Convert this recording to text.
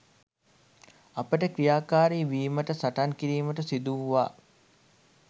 අපට ක්‍රියාකාරී වීමට සටන් කිරීමට සිදු වූවා.